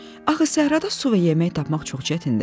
Axı səhrada su və yemək tapmaq çox çətindir.